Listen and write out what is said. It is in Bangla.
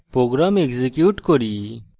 program execute করি